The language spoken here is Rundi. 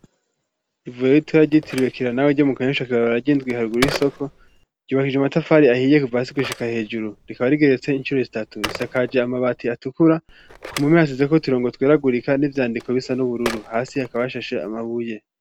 Ivuriro ritoya ryitiriwe kira nawe tyo mu Kanyosha kw'ibarabara ry'indwi haruguru y'isoko ryubakijwe amatafari ahiye kuva hasi gushika hejuru rikaba rigeretse incuro zitatu risakaje amabati atukura ku mpome hasizeko uturongo tweragurika n'ibyandiko bisa n'ubururu hasi hakaba hashashe amabuye.